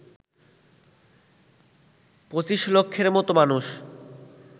২৫ লক্ষের মতো মানুষ